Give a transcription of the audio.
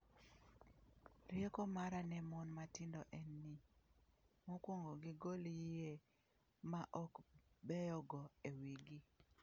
""Rieko mara ne mon matindo en ni, mokwongo gigol yie ma ok beyogo e wigi."